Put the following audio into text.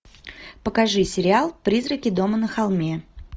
покажи сериал призраки дома на холме